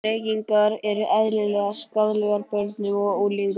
Reykingar eru eðlilegar skaðlegar börnum og unglingum.